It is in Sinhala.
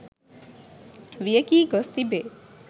වියැකී ගොස් තිබේ.